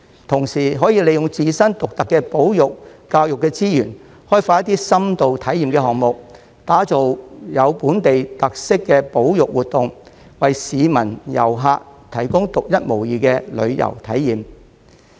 同時可以利用自身獨特的保育、教育資源，開發一些深度體驗項目，打造具本地特色的保育活動，為市民和遊客提供獨一無二的旅遊體驗。